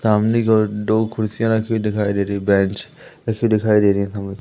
सामने की ओर दो कुर्सियां रखी दिखाई दे रही बेंच ए_सी दिखाई दे रही है साम--